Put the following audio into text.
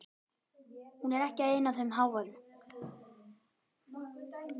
Hún er ekki ein af þeim háværu.